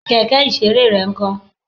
Kẹ̀kẹ́ ìṣeré rẹ ń kó?